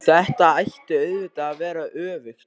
Þetta ætti auðvitað að vera öfugt.